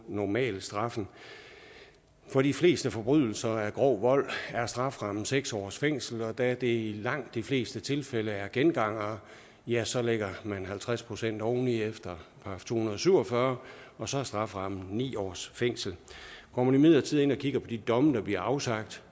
normalstraffen for de fleste forbrydelser af grov vold er strafferammen seks års fængsel og da det i langt de fleste tilfælde er gengangere ja så lægger man halvtreds procent oven i efter § to hundrede og syv og fyrre og så er strafferammen ni års fængsel går man imidlertid ind og kigger på de domme der bliver afsagt